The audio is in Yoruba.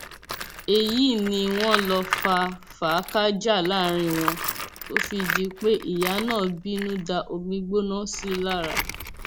èyí ni wọn lọ fà fáakájàá láàrin wọn tó fi di pé ìyá náà bínú da omiígbóná sí i lára